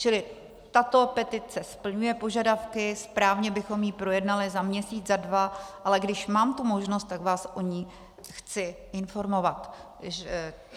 Čili tato petice splňuje požadavky, správně bychom ji projednali za měsíc, za dva, ale když mám tu možnost, tak vás o ní chci informovat.